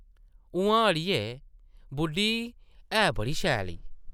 उʼआं अड़िये, बुड्ढी है बड़ी शैल ई।